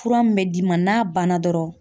Fura min bɛ d'i ma n'a banna dɔrɔn